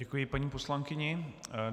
Děkuji paní poslankyni.